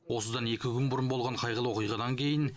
осыдан екі күн бұрын болған қайғылы оқиғадан кейін